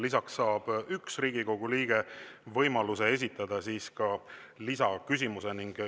Lisaks saab üks Riigikogu liige võimaluse esitada lisaküsimuse.